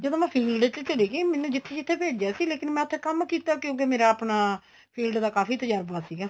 ਜਦੋਂ ਮੈਂ field ਚ ਚਲੀ ਗਈ ਮੈਨੂੰ ਜਿੱਥੇ ਜਿੱਥੇ ਭੇਜੀਆ ਸੀ ਲੇਕਿਨ ਮੈਂ ਉੱਥੇ ਕੰਮ ਕੀਤਾ ਕਿਉਂਕਿ ਮੇਰਾ ਆਪਣਾ field ਦਾ ਕਾਫੀ ਤਜਰਬਾ ਸੀਗਾ